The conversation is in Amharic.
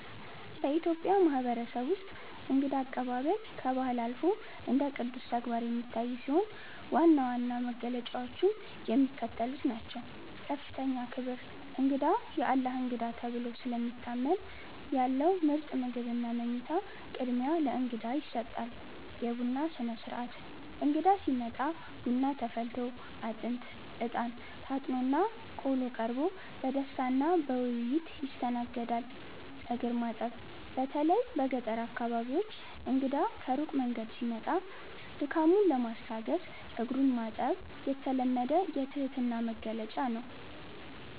በኢትዮጵያ ማህበረሰብ ውስጥ እንግዳ አቀባበል ከባህል አልፎ እንደ ቅዱስ ተግባር የሚታይ ሲሆን፣ ዋና ዋና መገለጫዎቹም የሚከተሉት ናቸው፦ ከፍተኛ ክብር፦ እንግዳ "የአላህ እንግዳ" ተብሎ ስለሚታመን፣ ያለው ምርጥ ምግብና መኝታ ቅድሚያ ለእንግዳ ይሰጣል። የቡና ሥነ-ሥርዓት፦ እንግዳ ሲመጣ ቡና ተፈልቶ፣ አጥንት (እጣን) ታጥኖና ቆሎ ቀርቦ በደስታና በውይይት ይስተናገዳል። እግር ማጠብ፦ በተለይ በገጠር አካባቢዎች እንግዳ ከሩቅ መንገድ ሲመጣ ድካሙን ለማስታገስ እግሩን ማጠብ የተለመደ የትህትና መግለጫ ነው።